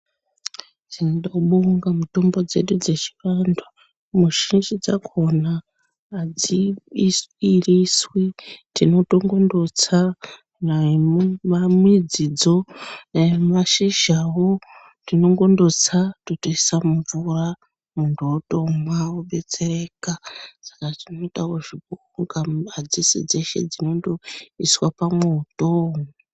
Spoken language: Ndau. Tinobonga mitombo dzedu dzechiantu muzhinji dzakona adziiriswi tinongondotsa daimidzidzo, daimashizhawo tinogondotsa totoisa mumvura munhu otomwa obetsereka ,saka zvinoitawo kuti adzisi dzeshe dzinoiswa pamwoto.